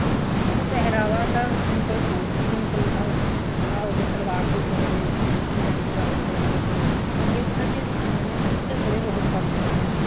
ਸਾਡਾ ਪਹਿਰਾਵਾ ਤਾਂ simple ਸੂਟ ਸੀ ਜਿਵੇਂ ਉਹ ਆਹ ਹੋਗੇ ਸਲਵਾਰ ਸੂਟ ਹੋਗੇ ਪਜਾਮੀ ਪਾ ਲੈਂਦੇ ਹੁੰਦੇ ਸੀ ਅੱਗੇ ਪਤਾ ਕੀ ਹੈ ਜਮਾਨੇ ਚ ਘੱਗਰੇ ਬਹੁਤ ਪਾਉਂਦੀਆਂ ਹੁੰਦੀਆਂ ਸੀ